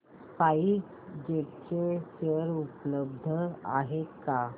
spice jet चे share उपलब्ध आहेत का